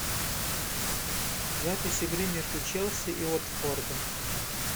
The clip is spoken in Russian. запись игры между челси и уотфордом